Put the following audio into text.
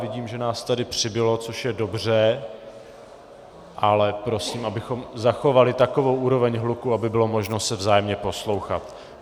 Vidím, že nás tady přibylo, což je dobře, ale prosím, abychom zachovali takovou úroveň hluku, aby bylo možno se vzájemně poslouchat.